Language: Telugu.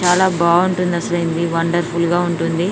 చాలా బాగుంటుంది అసలు ఈయన ది వండర్ ఫుల్ గా ఉంటుంది.